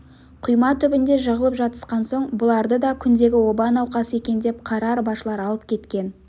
құйма түбінде жығылып жатысқан соң бұларды да күндегі оба науқасы екен деп қара арбашылар алып кеткен